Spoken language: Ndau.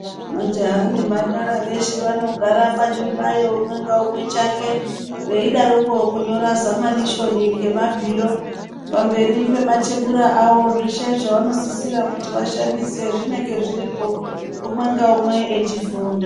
Majaha nemhandara veshe vanogara pachihlayo umwe ngaumwe chake veidaroko kunyora zamanishoni ngemabhiro pamberi pematebura avo zveshe zvavanosisire kuti vashandise zvinenge zviripo umwe ngaumwe echifunda.